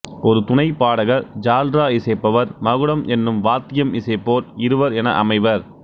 ஒரு துணைப்பாடகர் ஜால்ரா இசைப்பவர் மகுடம் எனும் வாத்தியம் இசைப்போர் இருவர் என அமைவர்